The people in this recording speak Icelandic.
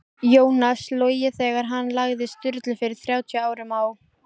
Jónas logið þegar hann sagði Sturlu fyrir þrjátíu árum á